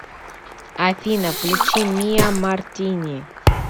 афина включи миа мартини